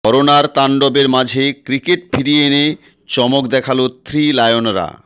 করোনার তাণ্ডবের মাঝে ক্রিকেট ফিরিয়ে এনে চমক দেখালো থ্রি লায়নরা